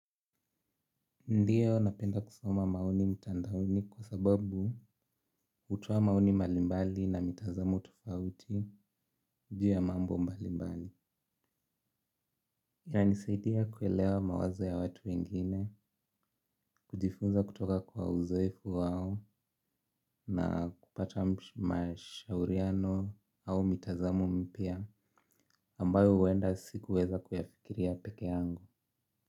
Ndio napenda kusoma maoni mtandaoni kwa sababu hutoa maoni mbalimbali na mitazamo tofauti juu ya mambo mbalimbali. Inanisaidia kuelewa mawazo ya watu wengine, kujifunza kutoka kwa uzoefu wao na kupata mashauriano au mitazamo mpya ambayo huenda sikuweza kuyafikiria peke yangu.